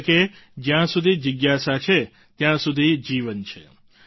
એટલે કે જ્યાં સુધી જિજ્ઞાસા છે ત્યાં સુધી જીવન છે